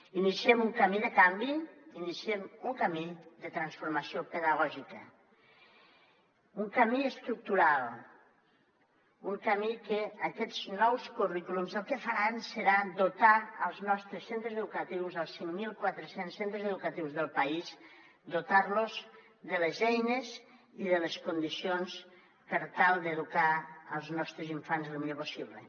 iniciem un camí de canvi iniciem un camí de transformació pedagògica un camí estructural un camí que aquests nous currículums el que faran serà dotar els nostres centres educatius els cinc mil quatre cents centres educatius del país dotar los de les eines i de les condicions per tal d’educar els nostres infants lo millor possible